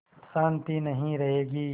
शान्ति नहीं रहेगी